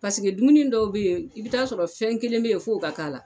Paseke dumuni dɔw be yen i bi t'a sɔrɔ fɛn kelen be yen f'o ka k'a la